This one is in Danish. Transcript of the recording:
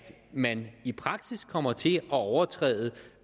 man i praksis kommer til at overtræde